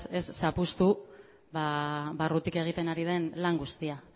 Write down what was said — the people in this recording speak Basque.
ez zapuztu barrutik egiten ari den lan guztia